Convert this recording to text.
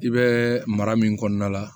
I bɛ mara min kɔnɔna la